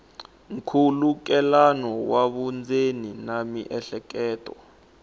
nkhulukelano wa vundzeni na miehleketo